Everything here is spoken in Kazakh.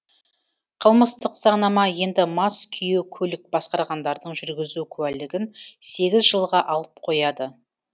қылмыстық заңнама енді мас күйі көлік басқарғандардың жүргізу куәлігін сегіз жылға алып қояды